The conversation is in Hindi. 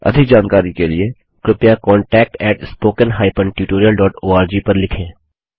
अधिक जानकारी के लिए कृपया contactspoken tutorialorg पर लिखें